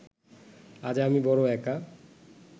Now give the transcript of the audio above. আজ আমি বড় একা